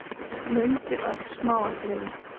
Mundi öll smáatriði.